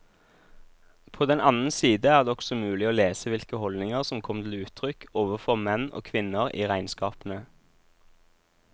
På den annen side er det også mulig å lese hvilke holdninger som kom til uttrykk overfor menn og kvinner i regnskapene.